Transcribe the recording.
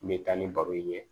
N bɛ taa ni baro in ye